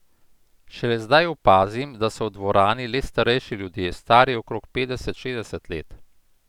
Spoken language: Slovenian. Šele zdaj opazim, da so v dvorani le starejši ljudje, stari okrog petdeset, šestdeset let.